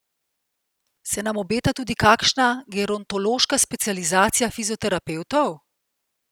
Se nam obeta tudi kakšna gerontološka specializacija fizioterapevtov?